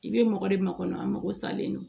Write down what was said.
I bɛ mɔgɔ de makɔnɔ an mako salen don